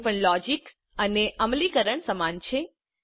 અહીં પણ લોજીક અને અમલીકરણ સમાન છે